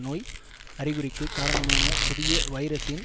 நோய் அறிகுறிக்கு காரணமான புதிய வைரசின்